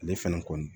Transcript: Ale fɛnɛ kɔni